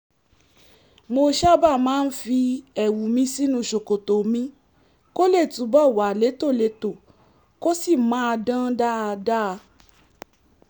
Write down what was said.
mo sábà máa ń fi ẹ̀wù mi sínú ṣòkòtò mi kó lè túbọ̀ wà létòlétò kó sì máa dán dáadáa